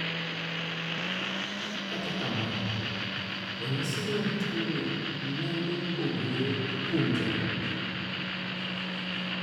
Kata kamano, ranyisi mag tuwono nyalo pogore kuom joot.